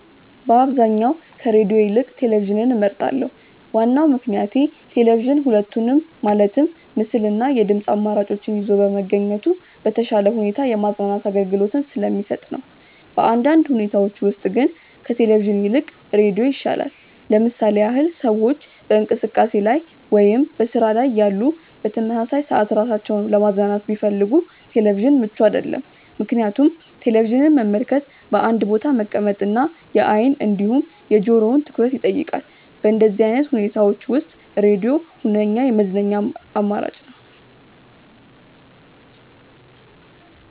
በአብዛኛው ከሬድዮ ይልቅ ቴሌቪዥንን እመርጣለሁ። ዋናው ምክንያቴ ቴሌቪዥን ሁለቱንም ማለትም ምስል እና የድምጽ አማራጮችን ይዞ በመገኘቱ በተሻለ ሁኔታ የማዝናናት አገልግሎትን ስለሚሰጥ ነው። በአንዳንድ ሁኔታዎች ውስጥ ግን ከቴሌቪዥን ይልቅ ሬዲዮ ይሻላል። ለምሳሌ ያህል ሰዎች በእንቅስቃሴ ላይ ወይም በስራ ላይ እያሉ በተመሳሳይ ሰዓት ራሳቸውን ለማዝናናት ቢፈልጉ ቴሌቪዥን ምቹ አይደለም፤ ምክንያቱም ቴሌቪዥንን መመልከት በአንድ ቦታ መቀመጥ እና የአይን እንዲሁም የጆሮውን ትኩረት ይጠይቃል። በእንደዚህ አይነት ሁኔታዎች ውስጥ ሬድዮ ሁነኛ የመዝናኛ አማራጭ ነው።